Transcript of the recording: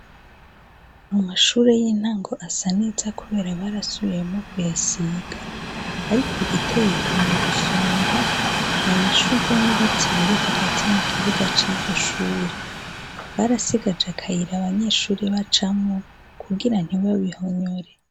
Mu mashure y'intango asa neza, kubera barasubiyemo kuyasiga, ariko igiteyeko mu gusomba, ni amashurwe n'ibiti biri hagati mu kibuga c'iryoshure barasigaje akayira abanyeshuri bacamwo kugira ntibabihonyore.